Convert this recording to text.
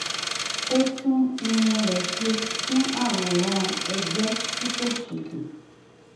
ó tún irun rẹ̀ ṣe fún àwòrán ẹgbẹ́ tí kò ṣètò